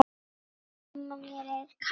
Mamma mér er kalt!